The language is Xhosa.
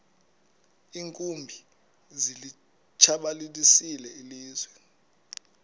iinkumbi zilitshabalalisile ilizwe